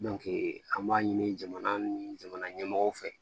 an b'a ɲini jamana ni jamana ɲɛmɔgɔw fɛ